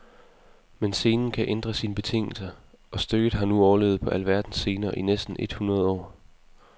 Men scenen kan ændre sine betingelser, og stykket har nu overlevet på alverdens scener i næsten et hundrede år.